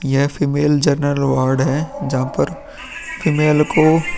यह female general ward है। जहाँ पर फीमेल को --